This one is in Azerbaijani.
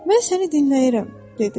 Mən səni dinləyirəm, dedi.